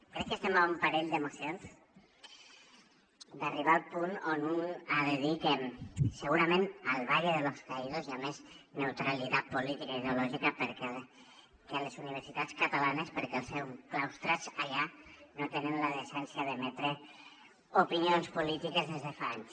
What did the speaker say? crec que estem a un parell de mocions d’arribar al punt on un ha de dir que segurament al valle de los caídos hi ha més neutralitat política i ideològica que a les universitats catalanes perquè als seus claustres allà no tenen la decència d’emetre opinions polítiques des de fa anys